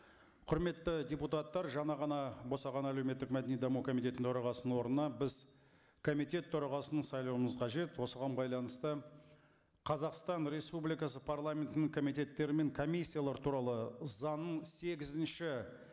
құрметті депутаттар жаңа ғана босаған әлеуметтік мәдени даму комитетінің төрағасының орнына біз комитет төрағасын сайлауымыз қажет осыған байланысты қазақстан республикасы парламентінің комитеттері мен комиссиялар туралы заңның сегізінші